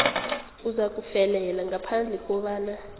uzakufelela ngaphandle kobana